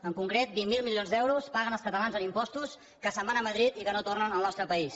en concret vint miler milions d’euros paguen els catalans en impostos que se’n van a madrid i que no tornen al nostre país